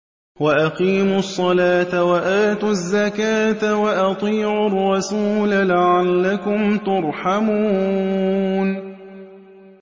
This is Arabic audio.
وَأَقِيمُوا الصَّلَاةَ وَآتُوا الزَّكَاةَ وَأَطِيعُوا الرَّسُولَ لَعَلَّكُمْ تُرْحَمُونَ